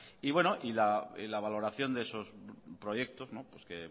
y bueno la valoración de esos proyectos que